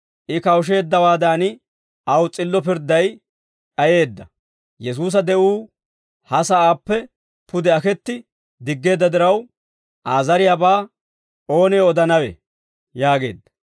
I kawusheeddawaadan aw s'illo pirdday d'ayeedda. Yesuusa de'uu ha sa'aappe pude aketti diggeedda diraw, Aa zariyaabaa oonee odanawe?» yaageedda.